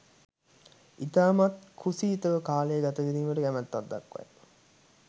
ඉතාමත් කුසීතව කාලය ගත කිරීමට කැමැත්තක් දක්වයි